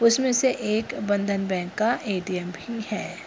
उस में से एक बंधन बैंक का ए.टी.एम. भी है।